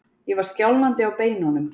Ég var skjálfandi á beinunum.